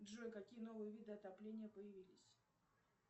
джой какие новые виды отопления появились